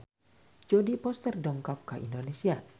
Jodie Foster dongkap ka Indonesia